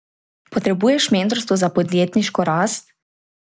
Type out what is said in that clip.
Potrebuješ mentorstvo za podjetniško rast?